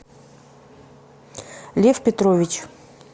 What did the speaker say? лев петрович